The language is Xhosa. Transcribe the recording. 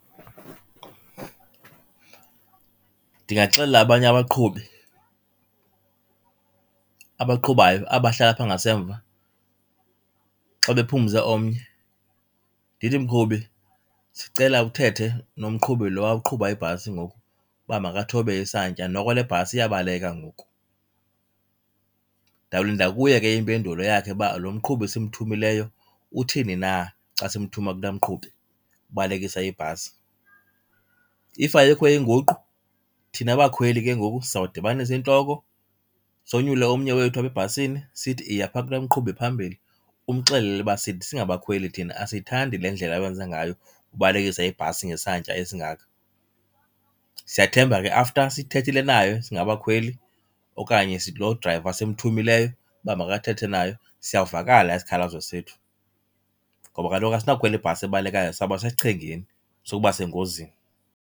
Ndingaxelela abanye abaqhubi abaqhubayo, aba bahlala apha ngasemva xa bephumze omnye. Ndithi, mqhubi sicela uthethe nomqhubi lowa uqhuba ibhasi ngoku uba makathobe isantya, noko le bhasi iyabaleka ngoku. Ndawulinda kuye ke impendulo yakhe, uba lomqhubi simthumileyo uthini na xa simthuma kulaa mqhubi ubalekisa ibhasi. If ayikho inguqu, thina bakhweli ke ngoku sizawudibanisa iintloko sonyule omnye wethu apha ebhasini sithi, iya phaa kulaa mqhubi phambili umxelele uba sithi singabakhweli thina asiyithandi le ndlela owenza ngayo ubalekisa ibhasi ngesantya esingaka. Siyathemba ke after sithethile naye singabakhweli okanye lo drayiva simthumileyo uba makathethe naye siyawuvakala isikhalazo sethu. Ngoba kaloku asinawukhwela ibhasi ebalekayo, sawuba sesichengeni sokuba sengozini.